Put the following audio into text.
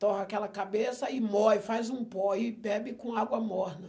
Torra aquela cabeça e mói, faz um pó e bebe com água morna.